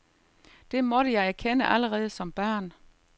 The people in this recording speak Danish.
Det måtte jeg erkende allerede som barn.